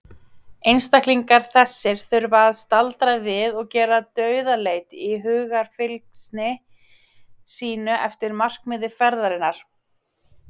Einstaklingar þessir þurfa að staldra við og gera dauðaleit í hugarfylgsni sínu eftir markmiði ferðarinnar.